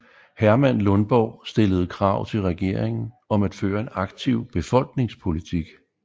Herman Lundborg stillede krav til regeringen om at føre en aktiv befolkningspolitik